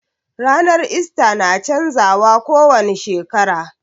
Ranar ista na canza wa ko wani shekara